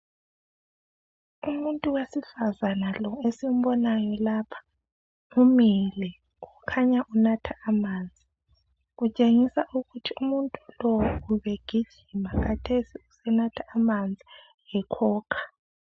Umuntu wesifazana lo esimbonayo lapha umile kukhanya unatha amanzi. Kutshengisa ukuthi umuntu lo ubegijima kathesi usenatha amanzi ekhokha.